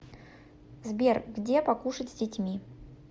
сбер где покушать с детьми